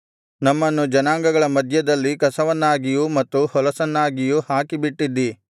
ನಮ್ಮನ್ನು ಜನಾಂಗಗಳ ಮಧ್ಯದಲ್ಲಿ ಕಸವನ್ನಾಗಿಯೂ ಮತ್ತು ಹೊಲಸನ್ನಾಗಿಯೂ ಹಾಕಿಬಿಟ್ಟಿದ್ದೀ